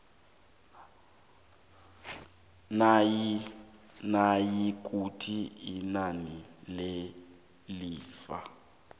nayikuthi inani lelifa